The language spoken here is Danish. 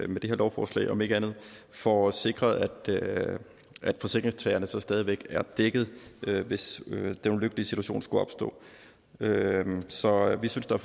med det her lovforslag om ikke andet får sikret at forsikringstagerne stadig væk er dækket hvis den ulykkelige situation skulle opstå så vi synes der